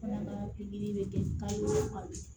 bɛ kɛ ka o kalo